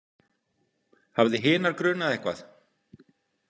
Hafði hinar grunað eitthvað?